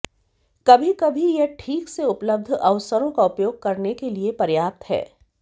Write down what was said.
कभी कभी यह ठीक से उपलब्ध अवसरों का उपयोग करने के लिए पर्याप्त है